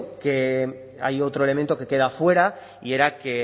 que hay otro elemento que queda fuera y era que